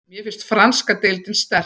Mér finnst franska deildin sterk.